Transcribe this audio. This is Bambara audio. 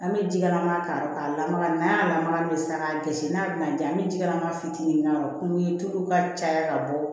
An bɛ ji kalaman k'a kɔrɔ ka lamaga n'a lamaga min bɛ san k'a gosi n'a bɛna di an bɛ jilama fitiinin k'a kɔrɔ tulu in tulu ka caya ka bɔ